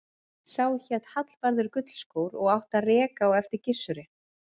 Sá hét Hallvarður gullskór og átti að reka á eftir Gissuri.